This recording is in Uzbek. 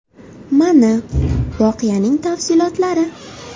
Mana, voqeaning tafsilotlari.